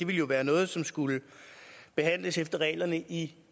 ville være noget som skulle behandles efter reglerne i